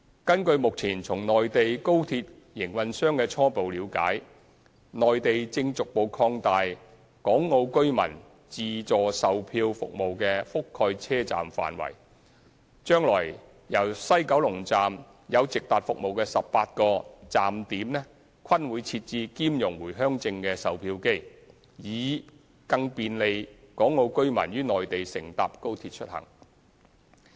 根據目前從內地高鐵營運商的初步了解，內地正逐步擴大港澳居民自助售取票服務的覆蓋車站範圍，將來由西九龍站有直達服務的18個站點均會設置兼容回鄉證的售票機，以更便利港澳居民於內地乘搭高鐵出行。